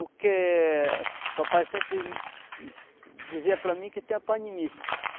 O que papai sempre dizia para mim que tem a panimice.